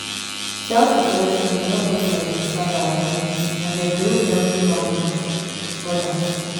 self-reflection dey help us to identify our limits and develop healthy boundaries with odas.